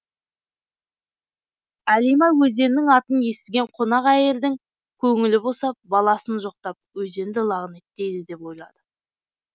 әлима өзеннің атын естіген қонақ әйелдің көңілі босап баласын жоқтап өзенді лағынеттейді деп ойлады